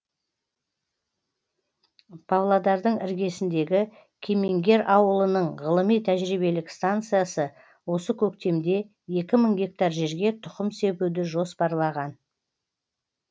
павлодардың іргесіндегі кемеңгер ауылының ғылыми тәжірибелік станциясы осы көктемде екі мың гектар жерге тұқым себуді жоспарлаған